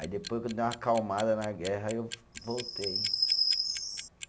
Aí depois quando deu uma acalmada na guerra, aí eu voltei.